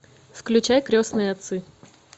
включай крестные отцы